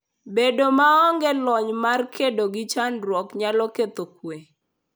Bedo maonge lony mar kedo gi chandruoge nyalo ketho kuwe.